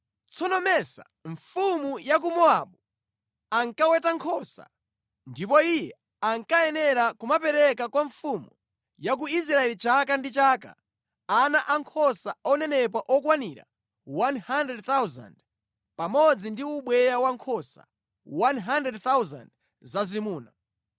Tsono Mesa, mfumu ya ku Mowabu ankaweta nkhosa, ndipo iye ankayenera kumapereka kwa mfumu ya ku Israeli chaka ndi chaka ana ankhosa onenepa okwanira 100,000 pamodzi ndi ubweya wankhosa 100,000 zazimuna.